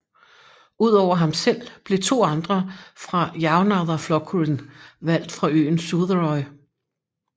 Udover ham selv blev to andre fra Javnaðarflokkurin valgt fra øen Suðuroy